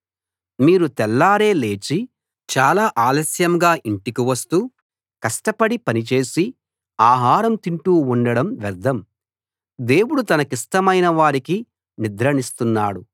మీరు తెల్లారే లేచి చాలా ఆలస్యంగా ఇంటికి వస్తూ కష్టపడి పని చేసి ఆహారం తింటూ ఉండడం వ్యర్ధం దేవుడు తనకిష్టమైన వారికి నిద్రనిస్తున్నాడు